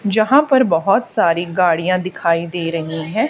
जहां पर बहोत सारी गाड़ियां दिखाई दे रही है।